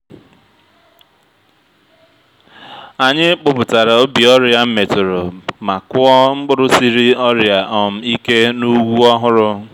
anyị kpụpụtara ubi ọrịa metụrụ ma kụọ mkpụrụ siri ọrịa um ike n’ugwu ọhụrụ